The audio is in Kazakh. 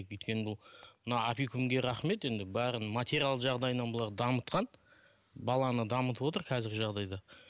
өйткені бұл мына опекунге рахмет енді бәрін материалдық жағдайынан бұларды дамытқан баланы дамытып отыр қазіргі жағдайда